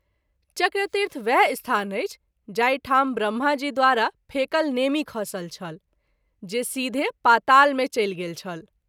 चक्रतीर्थ वएह स्थान अछि जाहि ठाम ब्रम्हा जी द्वारा फेकल नेमि खसल छल जे सीधे पाताल मे चलि गेल छल।